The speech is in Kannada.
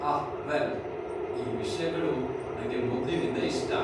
ಆಹ್, ವೆಲ್, ಈ ವಿಷ್ಯಗಳು ನಂಗೆ ಮೊದ್ಲಿಲಿಂದ ಇಷ್ಟ.